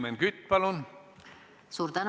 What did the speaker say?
Helmen Kütt, palun!